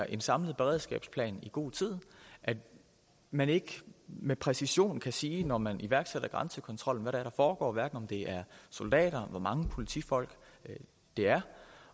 en samlet beredskabsplan i god tid at man ikke med præcision kan sige når man iværksætter grænsekontrollen er der foregår hverken om det er soldater hvor mange politifolk det er